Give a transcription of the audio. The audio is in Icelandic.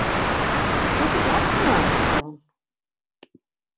Ég get ekki opnað hana, sagði hún.